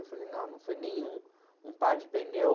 Eu falei, não, não foi nenhum, um par de pneu...